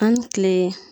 An bɛ kile